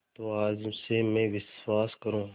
तो आज से मैं विश्वास करूँ